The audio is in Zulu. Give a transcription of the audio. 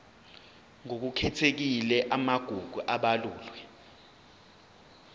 ngokukhethekile amagugu abalulwe